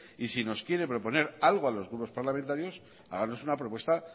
y si nos quiere proponer algo a los nuevos parlamentarios háganos una propuesta